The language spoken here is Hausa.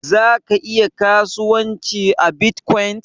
Ka iya kasuwanci a Bitcoin?